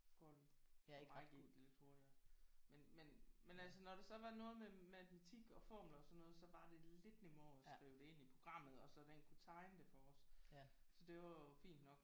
Går det for mig gik det lidt hurtigere men men men altså når der så var noget med matematik og formler og sådan noget så var det lidt nemmere at skrive det ind i programmet og så den kunne tegne det for os så det var jo fint nok